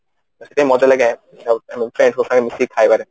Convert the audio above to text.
ତ ସେଥିପାଇଁ ମଜା ଲାଗେ ମିସିକି ଖାଇବାରେ